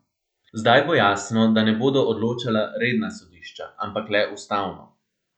Zdaj bo jasno, da ne bodo odločala redna sodišča, ampak le ustavno.